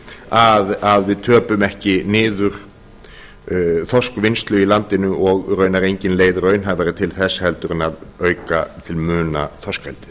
þorskafurðir að við töpum ekki niður þorskvinnslu í landinu og raunar engin leið raunhæfari til þess heldur en að auka til muna þorskeldi